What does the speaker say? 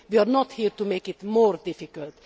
we are not here to make it more difficult.